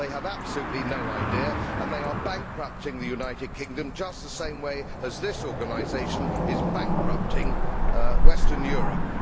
They have absolutely no idea, and they are bankrupting the United Kingom just the same way this organisation is bankrupting Western Europe.